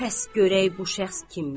Bəs görək bu şəxs kimdir?